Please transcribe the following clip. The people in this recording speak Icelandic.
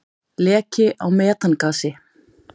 Leki á metangasi.